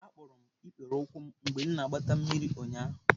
Akpọrọ m ikpere ụkwụ m mgbe m na-agbata mmiri ụnyahụ.